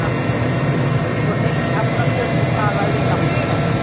Séra Haukur fór heim í Hafnarfjörð og talaði við gamla settið.